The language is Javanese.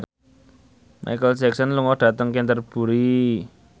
Micheal Jackson lunga dhateng Canterbury